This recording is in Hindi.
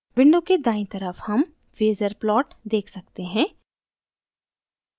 window के दायीं तरफ हम phasor plot देख सकते हैं